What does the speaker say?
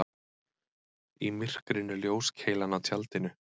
Í myrkrinu ljóskeilan á tjaldinu.